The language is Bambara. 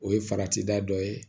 O ye farati da dɔ ye